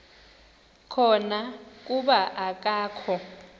khona kuba akakho